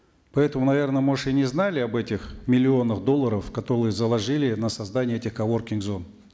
поэтому наверно может и не знали об этих миллионах долларов заложили на создание этих коворкинг зон